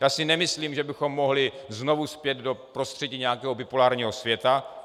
Já si nemyslím, že bychom mohli znovu spět do prostředí nějakého bipolárního světa.